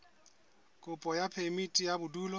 kopo ya phemiti ya bodulo